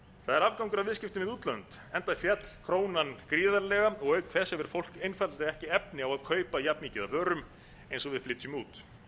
það er afgangur af viðskiptum við útlönd enda féll krónan gríðarlega auk þess hefur fólk einfaldlega ekki efni á að kaupa jafn mikið af vörum eins og við flytjum út